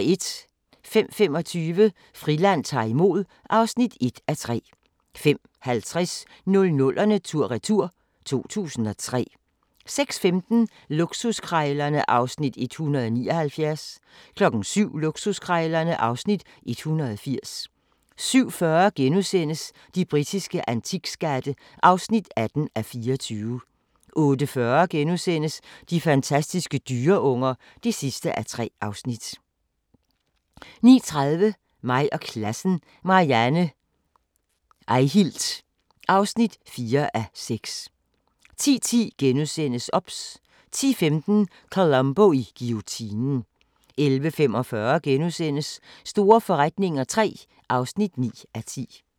05:25: Friland ta'r imod (1:3) 05:50: 00'erne tur-retur: 2003 06:15: Luksuskrejlerne (Afs. 179) 07:00: Luksuskrejlerne (Afs. 180) 07:40: De britiske antikskatte (18:24)* 08:40: De fantastiske dyreunger (3:3)* 09:30: Mig og klassen – Marianne Eihilt (4:6) 10:10: OBS * 10:15: Columbo i guillotinen 11:45: Store forretninger III (9:10)*